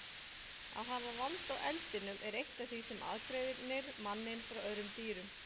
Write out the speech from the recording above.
Að hafa vald á eldinum er eitt af því sem aðgreinir manninn frá öðrum dýrum.